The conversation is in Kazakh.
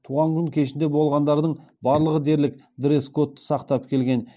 туған күн кешінде болғандардың барлығы дерлік дресс кодты сақтап келген